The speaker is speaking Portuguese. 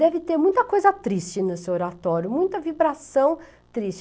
Deve ter muita coisa triste nesse oratório, muita vibração triste.